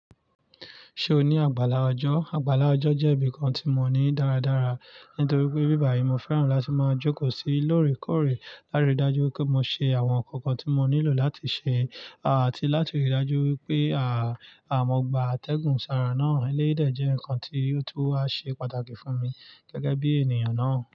Ṣé o ní àgbàlá ọjọ́? Àgbàlá ọjọ́ jẹ́ nkan tí mo ní dáradára, nítorí pé ibí yìí ni mo fẹ́ràn láti máa jókòó sí lóòrèkóòrè láti rí dájú pé mo ṣe àwọn nǹkan kan tí mo nílò láti ṣe àti láti rí dájú wípé à, àwọn gbà atẹ́gùn sára náà lẹ́yìí dẹ̀ jẹ́ nǹkan tí ó tún wà ṣe pàtàkì fún mi gẹ́gẹ́ bí ènìyàn náà.